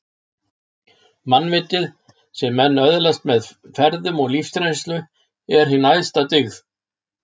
Mannvitið, sem menn öðlast með ferðum og lífsreynslu, er hin æðsta dyggð